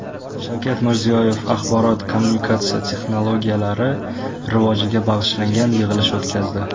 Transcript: Shavkat Mirziyoyev axborot-kommunikatsiya texnologiyalari rivojiga bag‘ishlangan yig‘ilish o‘tkazdi.